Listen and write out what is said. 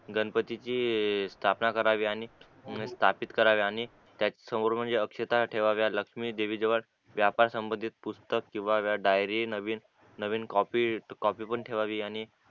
गणपतीची स्थापना करावी स्थापित करावी आणि त्याच समोर म्हणजे अक्षता ठेवाव्या लक्ष्मी देवीची व्यापार संबंधित पुस्तक ठेवाव्यात डायरी नवीन नवीन कॉपीट कॉपी पण ठेवावी